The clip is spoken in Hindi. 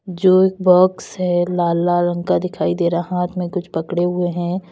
जो एक बॉक्स है लाल लाल रंग का दिखाई दे रहा हाथ में कुछ पकड़े हुए हैं।